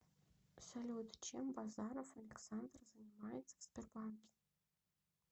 салют чем базаров александр занимается в сбербанке